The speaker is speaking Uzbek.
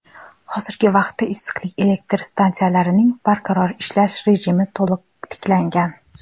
hozirgi vaqtda issiqlik elektr stansiyalarining barqaror ishlash rejimi to‘liq tiklangan.